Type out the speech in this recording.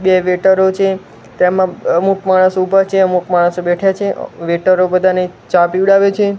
બે વેઇટરો છે તેમાં અમુક માણસ ઊભા છે અમુક માણસો બેઠા છે વેઈટરો બધાને ચા પીવડાવે છે.